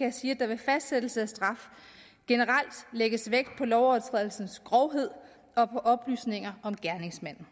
jeg sige at der ved fastsættelse af straf generelt lægges vægt på lovovertrædelsens grovhed og på oplysninger om gerningsmanden